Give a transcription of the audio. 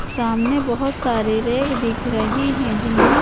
सामने बहोत सारे रैक दिख रहे हैं जिनमें--